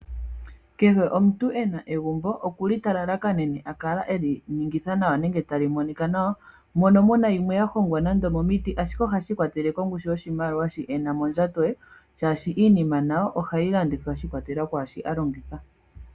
Kehw omuntu ena egumbo okuli ta lalakanene akale eli ningitha nawa nenge tali monik nawa mono muna yimwe ya hongwa nande omomiti ashike ohashi ikwatelele kongushu yoshimaliwa shi ena mondjato ye shaashi iinima nayo ohayi landithwa shi ikwatelela kwaashi alongitha.